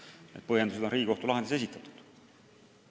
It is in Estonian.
Need põhjendused on Riigikohtu lahendis esitatud.